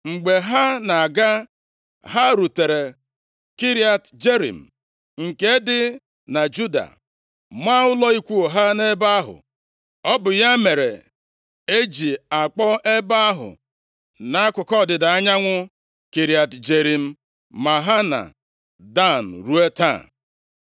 Mgbe ha na-aga, ha rutere Kiriat Jearim, nke dị na Juda, maa ụlọ ikwu ha nʼebe ahụ. Ọ bụ ya mere e ji akpọ ebe ahụ dị nʼakụkụ ọdịda anyanwụ Kiriat Jearim Mahane Dan ruo taa.